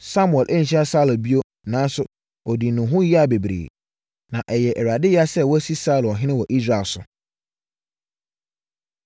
Samuel anhyia Saulo bio nanso ɔdii ne ho yea bebree. Na ɛyɛɛ Awurade yea sɛ wasi Saulo ɔhene wɔ Israel so.